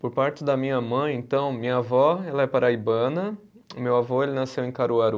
Por parte da minha mãe, então, minha vó ela é paraibana, meu avô ele nasceu em Caruaru.